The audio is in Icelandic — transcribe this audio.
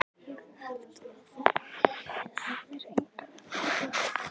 Ég hélt að þú hefðir engan áhuga.